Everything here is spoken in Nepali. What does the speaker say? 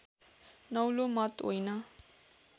नौलो मत होइन